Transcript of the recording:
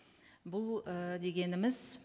бұл і дегеніміз